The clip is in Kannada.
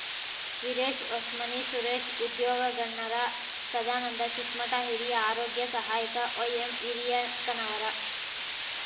ವಿರೇಶ್ ಹೊಸ್ಮನಿ ಸುರೇಶ್ ಉದ್ಯೋಗಣ್ಣರ ಸದಾನಂದ ಚಿಕ್ಕಮಠ ಹಿರಿಯ ಆರೋಗ್ಯ ಸಹಾಯಕ ವೈಎಂಹಿರಿಯಕ್ಕನವರ